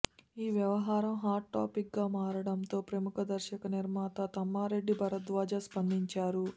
ఈ వ్యవహారం hot topic గా మారడంతో ప్రముఖ దర్శక నిర్మాత తమ్మారెడ్డి భరద్వాజ స్పందించారు